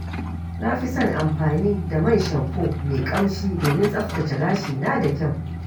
Na fi son amfani da man shamfo mai ƙamshi domin tsaftace gashina da kyau.